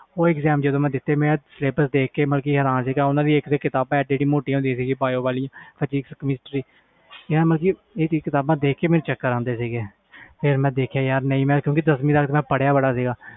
ਉਹ ਜਦੋ ਮੈਂ exam ਦਿਤੇ syllabus ‍ ਦੇਖ ਕੇ ਹੈਰਾਨ ਹੋ ਗਿਆ ਮੈਂ ਕਿਤਾਬਾਂ ਮੋਟੀਆਂ ਮੋਟੀਆਂ ਸੀ bio chemistry ਦੀਆ ਕਿਤਾਬ ਦੇਖ ਕੇ ਮੈਨੂੰ ਚਕ੍ਰ ਆਂਦੇ ਸੀ ਮੈਨੂੰ